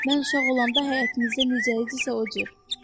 Mən uşaq olanda həyətimizdə necə idisə, o cür.